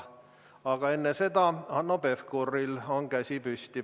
Aga enne seda on Hanno Pevkuril käsi püsti.